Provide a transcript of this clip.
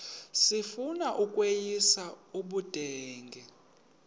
sifuna ukweyis ubudenge